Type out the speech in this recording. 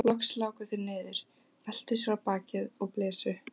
Loks láku þeir niður, veltu sér á bakið og blésu.